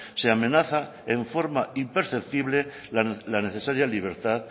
se amenaza en forma imperceptible la necesaria libertad